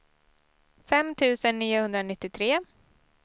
fem tusen niohundranittiotre